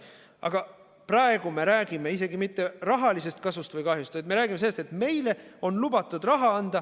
Aga praegu me ei räägi isegi mitte rahalisest kasust või kahjust, vaid me räägime sellest, et meile on lubatud raha anda.